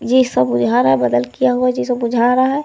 ये सब बादल किया हुआ जैसा बुझा रहा है।